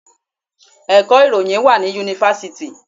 Ẹ̀kọ́ ìròyìn wá ní Yunifásítì.